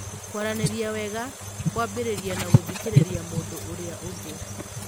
Kwaranĩria wega kwambĩrĩria na gũthikĩrĩria mũndũ ũrĩa ũngĩ.